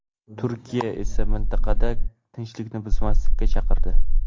Turkiya esa mintaqada tinchlikni buzmaslikka chaqirdi .